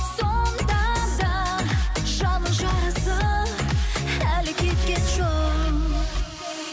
сонда да жанның жарасы әлі кеткен жоқ